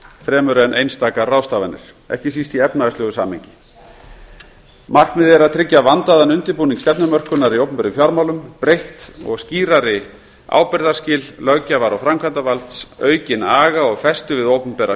fremur en einstakar ráðstafanir ekki síst í efnahagslegu samhengi markmiðið er að tryggja vandaðan undirbúning stefnumörkunar í opinberum fjármálum breytt og skýrari ábyrgðarskil löggjafar og framkvæmdarvalds aukinn aga og festu við opinbera